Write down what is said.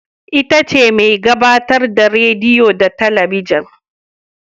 Ita ce mai gabatar da rediyo da talabijin